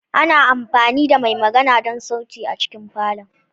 Ana amfani da mai magana don sauti a cikin falon.